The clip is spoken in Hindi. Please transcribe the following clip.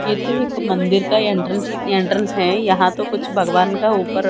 ये तो एक मंदिर का एंट्रेंस एंट्रेंस है यहां तो कुछ भगवान का ऊपर--